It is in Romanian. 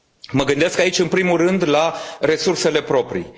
Mă gândesc aici în primul rând la resursele proprii.